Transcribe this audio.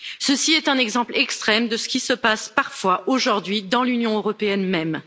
Ceci est un exemple extrême de ce qui se passe parfois aujourd'hui dans l'Union européenne même.